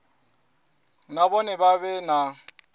na vhone vha vhe na